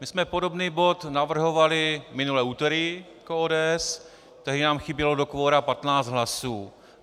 My jsme podobný bod navrhovali minulé úterý jako ODS, tehdy nám chybělo do kvora 15 hlasů.